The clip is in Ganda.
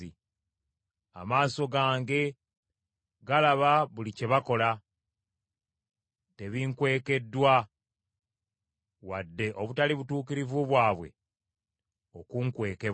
Amaaso gange galaba buli kye bakola, tebinkwekeddwa wadde obutali butuukirivu bwabwe okuunkwekebwa.